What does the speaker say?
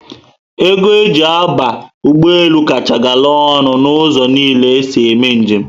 Ego eji aba ụgbọelu kacha gara ọnụ na ụzọ niile esi eme njem